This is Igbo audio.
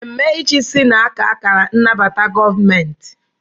Ememe ịchịisi na-aka akara nnabata gọọmentị.